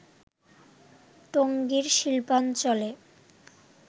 টঙ্গীর শিল্পাঞ্চলে